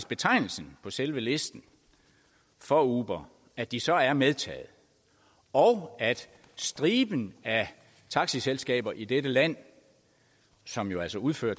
betegnelsen på selve listen for uber at de så er medtaget og at striben af taxiselskaber i dette land som jo altså udfører